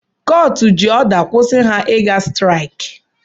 Kọọtụ jị ọda kwusi ha iga sịtịraịkị